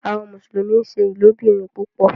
Àwọn Mùsùlùmí nṣẹ ilobìrin púpò